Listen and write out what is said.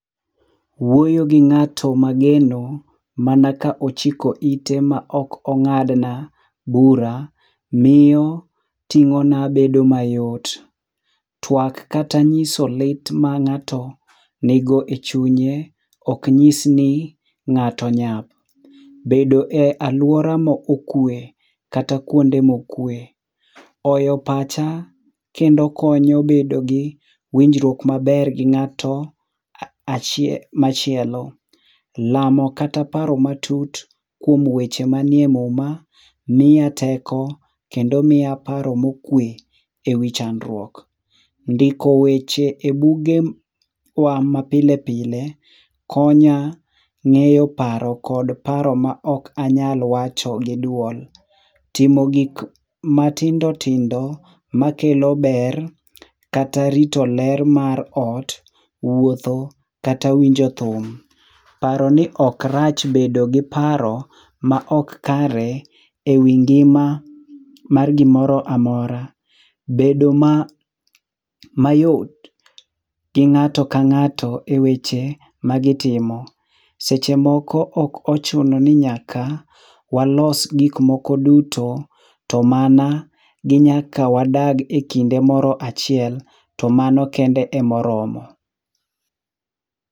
Wuoyo gi ng'ato ma ageno ma ka ochiko ite ma ok ong'ad na bura miyo ting'o na bedo mayot twak kata ng'iso lit ma ng'ato ni go e chunye ok ng'is ni ng'ato nyap. Bedo e aluora ma okwe kata kuonde ma okwe oyo pacha kendo konyo bedo gi winjruok gi ng'ato achiel machielo, lamo kata paro matut kuom weche ma nitie e muma miya teko kendo miya paro mo okwe e wii chandruok. Ndiko weche e buge wa ama pile pile konya ng'eyo paro kod paro ma ok anya wacho gi duol, timo gik matindo tindo ma kelo ber kata rito ler mar ot wuotho kata winjo thum, paro ni ok rach bedo gi paro ma ok kare e wii ngima mar gi moro mora, bedo mayot gi ng'ato ka ng'ato e weche ma gi timo. Seche moko ok ochuno ni nyaka walos gik moko duto to mana ni nyaka wadak e kinde moro achiel to mano kende e ma oromo.